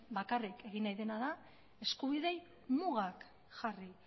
bakarrik egin nahi dena da eskubideei mugak jarri